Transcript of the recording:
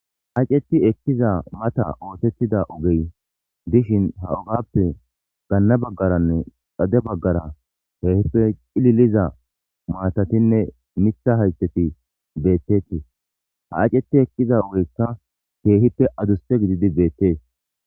aceti ekkiza mata ootettida ogey dishin ha ogappe ganna baggaranne xade baggara keehippe qililiza maatatinne mitha hayteti beettetii ha acetti ekkiza ugeykka keehipte aduste gididi beettees